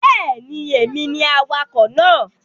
Bẹ́ẹ̀ni, èmi ni awakọ̀ náà